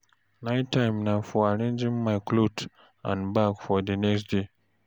Night time na for arranging my clothes and bag for the next day.